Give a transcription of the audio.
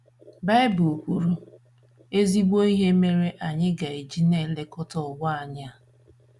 Baịbụl kwuru ezigbo ihe mere anyị ga - eji na - elekọta ụwa anyị a.